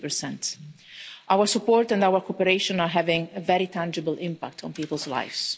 50. Our support and our cooperation are having a very tangible impact on people's lives.